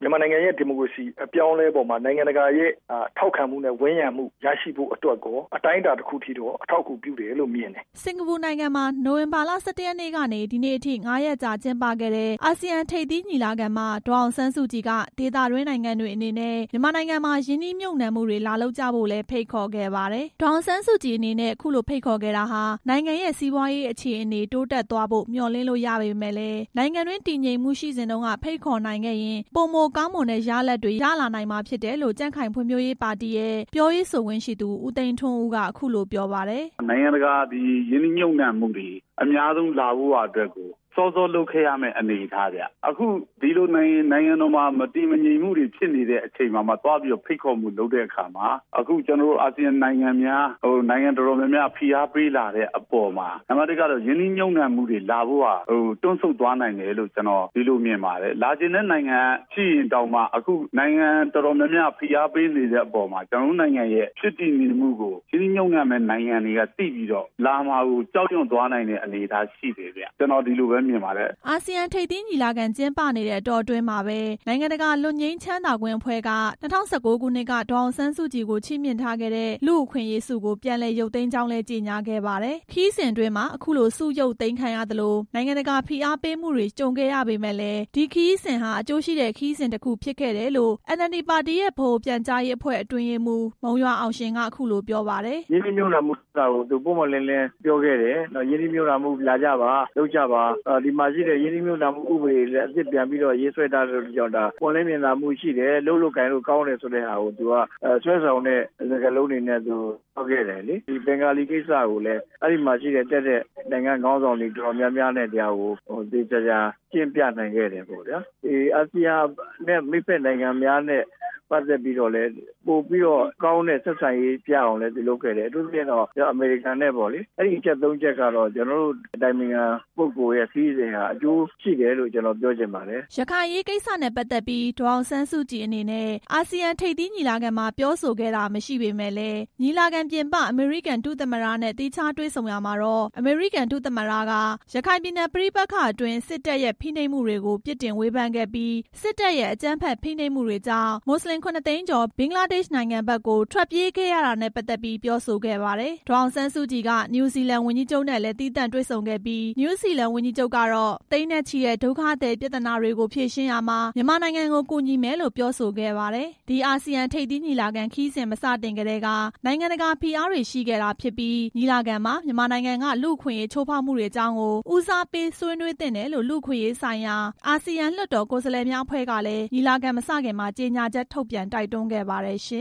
မြန်မာနိုင်ငံရဲ့ ဒီမိုကရေစီ အပြောင်းအလဲပေါ်မှာ နိုင်ငံတကာရဲ့ ထောက်ခံမှုနဲ့ ဝန်းရံမှုရရှိဖို့အတွက် အတိုင်းအတာတစ်ခုထိ အထောက်အကူပြုတယ်လို့မြင်တယ်" စင်္ကာပူနိုင်ငံမှာ နိုဝင်ဘာလ ၁၁ ရက်နေ့ကနေ ဒီနေ့အထိ ၅ ရက်ကြာ ကျင်းပခဲ့တဲ့ အာဆီယံထိပ်သီးညီလာခံမှာ ဒေါ်အောင်ဆန်းစုကြည်က ဒေသတွင်းနိုင်ငံတွေအနေနဲ့ မြန်မာနိုင်ငံမှာ ရင်းနှီးမြှုပ်နှံမှုတွေ လာလုပ်ကြဖို့လည်း ဖိတ်ခေါ်ခဲ့ပါတယ်။ ဒေါ်အောင်ဆန်းကြည်အနေနဲ့ အခုလိုဖိတ်ခေါ်ခဲ့တာဟာ နိုင်ငံရဲ့ စီးပွားရေးအခြေအနေ တိုးတက်သွားဖို့ မျှော်လင့်လို့ရပေမယ့်လည်း နိုင်ငံတွင်း တည်ငြိမ်မှုရှိနေစဉ်တုန်းက ဖိတ်ခေါ်နိုင်ခဲ့ရင် ပိုမိုကောင်းမွန်တဲ့ရလဒ်တွေ ရလာနိုင်မှာဖြစ်တယ်လို့ ကြံ့ခိုင်ဖွံ့ဖြိုးရေးပါတီရဲ့ ပြောရေးဆိုခွင့်ရှိသူ ဦးသိန်းထွန်းဦး က အခုလိုပြောပါတယ်။ "နိုင်ငံတကာရင်းနှီးမြှုပ်နှံမှုတွေ အများဆုံးလာဖို့ရာအတွက်ကို စောစောလုပ်ခဲ့ရမယ့် အနေအထားဗျ၊ အခုဒီလို နိုင်ငံတော်မှာ မတည်ငြိမ်မှုတွေ ဖြစ်နေတဲ့အချိန် သွားပြီးတော့ ဖိတ်ခေါ်မှုလုပ်တဲ့အခါမှာ အာဆီယံနိုင်ငံများ နိုင်ငံတော်တော်များများက ဖိအားပေးလာတဲ့အပေါ်မှာ ရင်းနှီးမြှုပ်နှံမှုတွေလာဖို့က တွန့်ဆုတ်သွားနိုင်တယ်လို့ မြင်တယ်၊ လာချင်တဲ့နိုင်ငံရှိရင်တောင်မှ အခုနိုင်ငံတော်တော်များများက ဖိအားပေးနေတဲ့အပေါ်မှာ ကျနော် တို့နိုင်ငံရဲ့ ဖြစ်တည်မှုကို ရင်းနှီးမြှုပ်နှံမယ့်နိုင်ငံတွေက သိပြီးတော့ လာမှာကို ကြောက်ရွံ့သွားနိုင်တဲ့ အနေအထားရှိတယ်" အာဆီယံထိပ်သီးညီလာခံကျင်းပနေတဲ့ အတောအတွင်းမှာပဲ နိုင်ငံတကာ လွတ်ငြိမ်းချမ်းသာခွင့်အဖွဲ့က ဒေါ်အောင်ဆန်းစုကြည်ကို ၂၀၀၉ ခုနှစ်က ချီးမြှင့်ထားခဲ့တဲ့ လူ့အခွင့်အရေးဆုကို ပြန်လည်ရုပ်သိမ်းကြောင်းလည်း ကြေညာခဲ့ပါတယ်။ ခရီးစဉ်အတွင်းမှာ အခုလို ဆုရုပ်သိမ်းခံရသလို နိုင်ငံတကာဖိအားပေးမှုတွေ ကြုံခဲ့ရပေမယ့် ဒီခရီးစဉ်ဟာ အကျိုးရှိတဲ့ခရီးစဉ်တစ်ခု ဖြစ်ခဲ့တယ်လို့ NLD ပါတီရဲ့ ဗဟိုပြန်ကြားရေးအဖွဲ့ အတွင်းရေးမှူး မုံရွာအောင်ရှင် က အခုလိုပြောပါတယ်။ "ရင်းနှီးမြှုပ်နှံမှုကိစ္စကို သူပွင့်ပွင့်လင်းလင်းပြောခဲ့တယ်၊ ရင်းနှီးမြှုပ်နှံမှုတွေလာကြပါ၊ လုပ်ကြပါ၊ ပြီးတော့ ရင်းနှီးမြှုပ်နှံမှု ဥပဒေတွေကိုလည်း အသစ်ပြန်လည်ရေးဆွဲထားတဲ့ အတွက်ကြောင့် ပွင့်လင်းမြင်သာမှုရှိတယ်၊ လုပ်လို့ ကိုင်လို့ကောင်းတယ်ဆိုပြီးတော့ ဆွဲဆောင်မှုရှိတဲ့ စကားလုံးတွေနဲ့ ပြောခဲ့တယ်လေ၊ ဒီဘင်္ဂါလီ ကိစ္စကိုလည်း အဲမှာတက်တဲ့ နိုင်ငံခေါင်းဆောင်တွေနဲ့ ရှင်းပြနိုင်ခဲ့တယ်ပေါ့ဗျာ၊ ဒီအာဆီယံ မိတ်ဖက်နိုင်ငံများနဲ့ ပတ်သက်ပြီးတော့လည်း ပိုပြီးတော့ကောင်းတဲ့ ဆက်ဆံရေးရအောင်လုပ်ခဲ့တယ်ဗျာ၊ အထူးသဖြင့်တော့ အမေရိကန်ပေါ့၊ အဲဒီအချက် ၃ ချက်ကတော့ ကျနော်တို့ အတိုင်ပင်ခံပုဂ္ဂိုလ်ရဲ့ ခရီးစဉ်က အကျိုးရှိခဲ့တယ်လို့ ပြောချင်ပါတယ်" ရခိုင်အရေးကိစ္စနဲ့ ပတ်သက်ပြီး ဒေါ်အောင်ဆန်းစုကြည်အနေနဲ့ အာဆီယံထိပ်သီးညီလာခံမှာ ပြောဆိုခဲ့တာ မရှိပေမဲ့လည်း ညီလာခံပြင်ပ အမေရိကန်ဒုသမ္မတနဲ့ သီးခြားတွေ့ဆုံရာမှာ အမေရိကန် ဒုသမ္မတက ရခိုင်ပြည်နယ် ပဋိပက္ခအတွင်း စစ်တပ်ရဲ့ဖိနှိပ်မှုတွေကို ပြစ်တင်ဝေဖန်ခဲ့ပြီး စစ်တပ်ရဲ့ အကြမ်းဖက်ဖိနှိပ်မှုတွေကြောင့် မွတ်စလင် ၇ သိန်းကျော် ဘင်္ဂလားဒေ့ရှ်နိုင်ငံဘက်ကို ထွက်ပြေးခဲ့ရတာနဲ့ ပတ်သက်ပြီး ပြောဆိုခဲ့ပါတယ်။ ဒေါ်အောင်ဆန်းစုကြည်က နယူးဇီလန်ဝန်ကြီးချုပ်နဲ့လည်း သီးသန့်တွေ့ဆုံခဲ့ပြီး နယူးဇီလန်ဝန်ကြီးချုပ်ကတော့ သိန်းနဲ့ချီတဲ့ဒုက္ခသည်ပြသနာတွေကို ဖြေရှင်းရာမှာ မြန်မာနိုင်ငံကို ကူညီမယ်လို့ ပြောဆိုခဲ့ပါတယ်။ ဒီအာဆီယံထိပ်သီးညီလာခံ ခရီးစဉ်မစတင်ခင်ကတည်းက နိုင်ငံတကာဖိအားတွေ ရှိခဲ့တာဖြစ်ပြီး ညီလာခံမှာ မြန်မာနိုင်ငံက လူ့အခွင့်အရေးချိုးဖောက်မှုတွေအကြောင်းကို ဦးစားပေးဆွေးနွေးသင့်တယ်လို့ လူ့အခွင့်အရေးဆိုင်ရာ အာဆီယံလွှတ်တော်ကိုယ်စားလှယ်များအဖွဲ့ကလည်း ညီလာခံမစခင်မှာ ကြေညာချက် ထုတ်ပြန်တိုက်တွန်း ခဲ့ပါတယ်ရှင